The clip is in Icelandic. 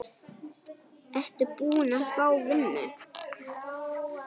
Ertu búin að fá vinnu?